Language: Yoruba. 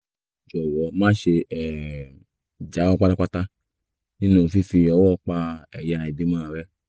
jọ̀wọ́ máṣe um jáwọ́ pátápátá nínú fífi ọwọ́ pa ẹ̀yà ìbímọ rẹ